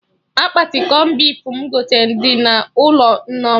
Akpati cọn beef m gote dị n'ụlọ Nneoma